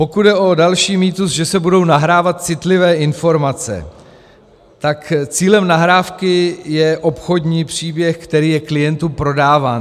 Pokud jde o další mýtus, že se budou nahrávat citlivé informace, tak cílem nahrávky je obchodní příběh, který je klientům prodáván.